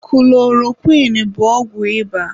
Kulorokwịn bụ ọgwụ ịba.